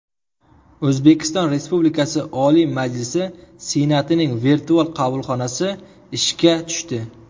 O‘zbekiston Respublikasi Oliy Majlis Senatining virtual qabulxonasi ishga tushdi.